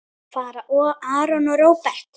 Fara Aron og Róbert?